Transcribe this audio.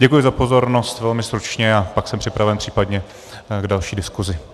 Děkuji za pozornost, velmi stručně, a pak jsem připraven případně k další diskuzi.